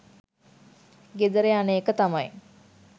ගෙදර යන එක තමයි